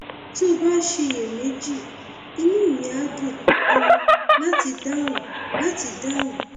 tó o bá ń ṣiyèméjì inú mi á dùn um láti dáhùn láti dáhùn